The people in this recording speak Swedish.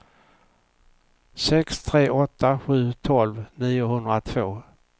sex tre åtta sju tolv niohundratvå